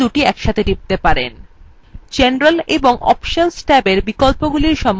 general এবং options tabs বিকল্পগুলি সম্বন্ধে জানতে